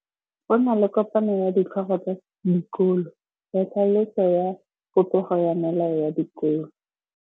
Go na le kopanô ya ditlhogo tsa dikolo ya tlhaloso ya popêgô ya melao ya dikolo.